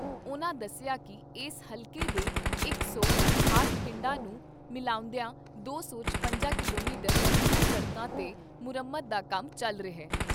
ਉਨ੍ਹਾਂ ਦੱਸਿਆ ਕਿ ਏਸ ਹਲਕੇ ਦੇ ਇਕ ਸੌ ਅਠਾਹਟ ਪਿੰਡਾਂ ਨੂੰ ਮਿਲਾਉਂਦੀਆਂ ਦੌ ਸੌ ਚੁਰੰਜਾ ਕਿਲੋਮੀਟਰ ਲੰਬੀਆਂ ਸੜਕਾਂ ਤੇ ਮੁਰੰਮਤ ਦਾ ਕੰਮ ਚੱਲ ਰਿਹਾ।